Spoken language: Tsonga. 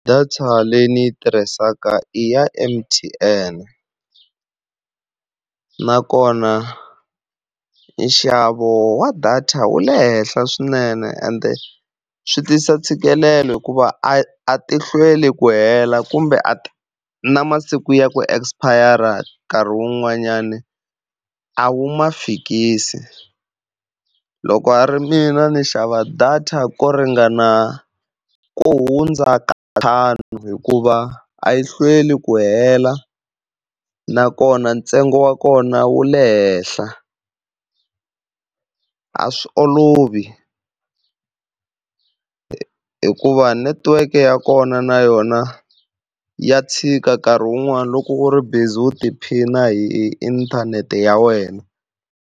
Data leyi ni yi tirhisaka i ya M_T_N, nakona nxavo wa data wu le henhla swinene ende swi tisa ntshikelelo hikuva a tihlweli ku hela kumbe na masiku ya ku expire nkarhi wun'wanyani a wu ma fikisi. Loko a ri mina ndzi xava data ko ringana ku hundza ka ntlhanu, hikuva a yi hlweli ku hela nakona ntsengo wa kona wu le henhla. A swi olovi hikuva netiweke ya kona na yona ya tshika nkarhi wun'wani loko u ri busy wu tiphina hi inthanete ya wena.